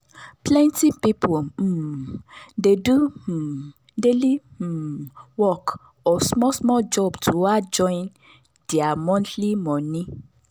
plenty people um dey do um daily um work or small small job to add join their monthly money.